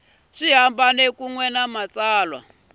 hambana kun we ni matsalwa